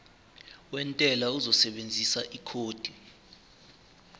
wentela uzosebenzisa ikhodi